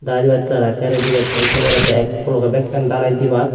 dalai dibattey tara ekkey ready gotton se porey tey ekku logey dalai dibak.